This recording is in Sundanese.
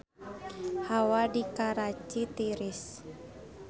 Hawa di Karachi tiris